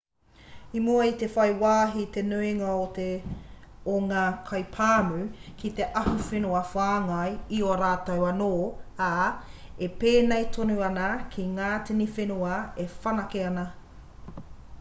i mua i te whai wāhi te nuinga o ngā kaipāmu ki te ahuwhenua whāngai i a rātou anō ā e pēnei tonu ana ki ngā tini whenua e whanake ana